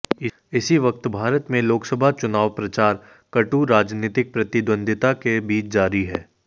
इसी वक्त भारत में लोकसभा चुनाव प्रचार कटु राजनीतिक प्रतिद्वंद्विता के बीच जारी है